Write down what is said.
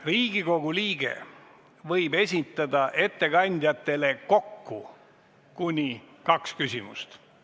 Riigikogu liige võib esitada ettekandjatele kokku kuni kaks küsimust.